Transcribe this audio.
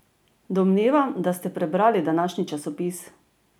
Domnevam, da ste prebrali današnji časopis?